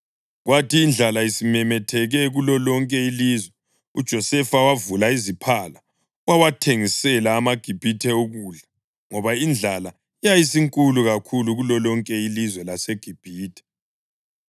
Kwathi indlala isimemetheke kulolonke ilizwe uJosefa wavula iziphala wawathengisela amaGibhithe ukudla ngoba indlala yayisinkulu kakhulu kulolonke ilizwe laseGibhithe.